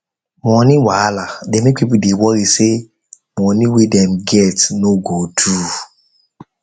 money wahala dey make people dey worry say money wey dem get no go do